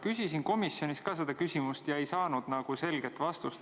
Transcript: Küsisin ka komisjonis selle küsimuse, aga ei saanud selget vastust.